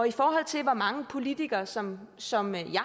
i forhold til hvor mange politikere som som jeg